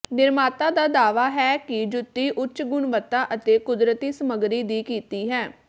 ਨਿਰਮਾਤਾ ਦਾ ਦਾਅਵਾ ਹੈ ਕਿ ਜੁੱਤੀ ਉੱਚ ਗੁਣਵੱਤਾ ਅਤੇ ਕੁਦਰਤੀ ਸਮੱਗਰੀ ਦੀ ਕੀਤੀ ਹੈ